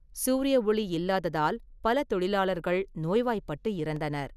சூரிய ஒளி இல்லாததால், பல தொழிலாளர்கள் நோய்வாய்ப்பட்டு இறந்தனர்.